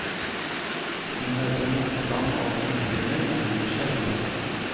De møter motstand og hindringer, men gir seg ikke.